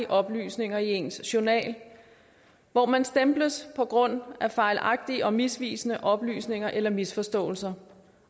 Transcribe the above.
oplysninger i ens journal hvor man stemples på grund af fejlagtige og misvisende oplysninger eller misforståelser